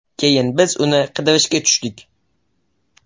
Keyin biz uni qidirishga tushdik.